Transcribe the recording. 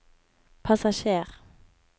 passasjer